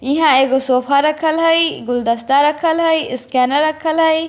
यहाँ एगो सोफ़ा रखल हाई गुलदस्ता रखल है स्कैनर रखल है।